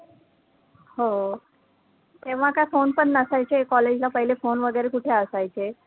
हो, तेव्हा काय phone पण नसायचे, college ला पहिले phone वैगरे कुठे असायचे,